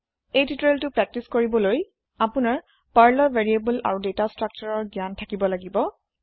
এই tutorial practice কৰিবলৈ আপোনাৰ Perlৰ ভেৰিয়েবল আৰু দাতা স্ত্ৰাকচাৰ ৰৰ জ্ঞান থাকিব লাগিব